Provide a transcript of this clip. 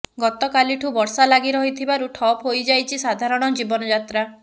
ଗତକାଲିଠୁ ବର୍ଷା ଲାଗି ରହିଥିବାରୁ ଠପ୍ ହୋଇଯାଇଛି ସାଧାରଣ ଜୀବନଯାତ୍ରା